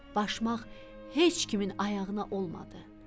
Başmaq heç kimin ayağına olmadı.